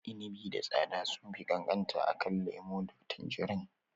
Inibi da tsada sunfi ƙanƙanta akan lemo da tanjirin.